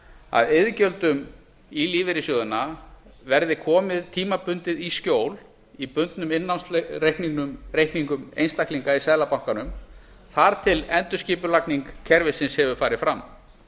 að iðgjöldum í lífeyrissjóðina veðri komið tímabundið í skjól í bundnum innlánsreikningum einstaklinga í seðlabankanum þar til endurskipulagning kerfisins hefur farið fram